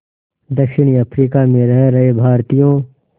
दक्षिण अफ्रीका में रह रहे भारतीयों